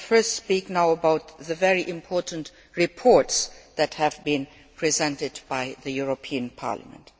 Let me first speak about the very important reports that have been presented by the European Parliament.